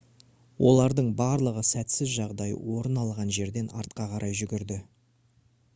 олардың барлығы сәтсіз жағдай орын алған жерден артқа қарай жүгірді